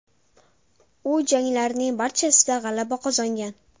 U janglarining barchasida g‘alaba qozongan.